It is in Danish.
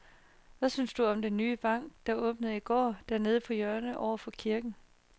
Hvad synes du om den nye bank, der åbnede i går dernede på hjørnet over for kirken?